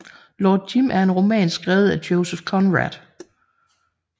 Lord Jim er en roman skrevet af Joseph Conrad